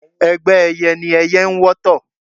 Ẹgbẹ́ ẹyẹ ni ẹyẹ n wọ́tọ̀